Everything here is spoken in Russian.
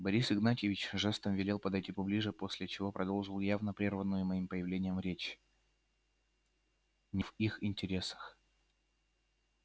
борис игнатьевич жестом велел подойти поближе после чего продолжил явно прерванную моим появлением речь не в их интересах